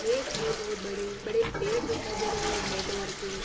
खेत हैं बोहोत बड़े बड़े पेड़ दिखाई दे रहे है हरे कलर के----